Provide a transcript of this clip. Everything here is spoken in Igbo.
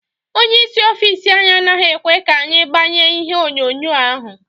Ónyé ịsị ọffici anyị anaghị ekwe ka anyị gbanye ihe onyonyo ahụ.